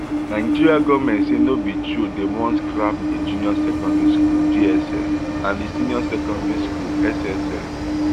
nigeria goment say no be true say dem wan scrap di junior secondary school jss and di senior secondary school sss